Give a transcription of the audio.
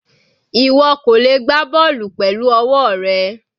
Ìwọ kò lè gbá bọ́ọ̀lù pẹ̀lú ọwọ́ rẹ.